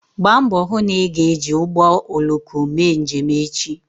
Gbaa mbọ hụ na ị ga-eji ụgbọ oloko mee njem echi